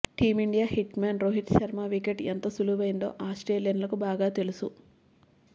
team India hit man Rohit Sharma wicket ఎంత విలువైందో ఆస్ట్రేలియన్లకు బాగా తెలుసు